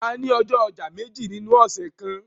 A ni ọjọ ọja meji ninu ọsẹ kan